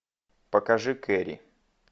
покажи кэрри